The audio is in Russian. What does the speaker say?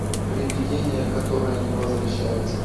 привидение которое не возвращается